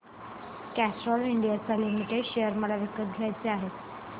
Castrol India limited share मला विकत घ्यायचे आहेत